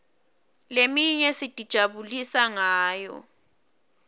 leminye sitijabulisa ngayo